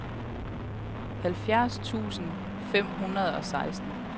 halvfjerds tusind fem hundrede og seksten